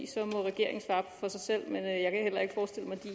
så må regeringen svare for sig selv